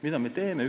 Mida me teeme?